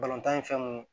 Balontan ye fɛn mun ye